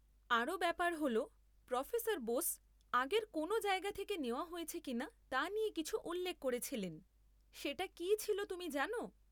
আরও ব্যাপার হল, প্রোফেসর বোস আগের কোনও জায়গা থেকে নেওয়া হয়েছে কিনা তা নিয়ে কিছু উল্লেখ করেছিলেন; সেটা কি ছিল তুমি জানো?